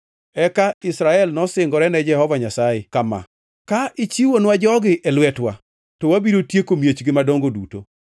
Eka Israel nosingore ne Jehova Nyasaye kama: “Ka ichiwonwa jogi e lwetwa, to wabiro tieko miechgi madongo duto.”